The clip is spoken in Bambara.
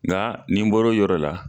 Nka nin bɔro o yɔrɔ la.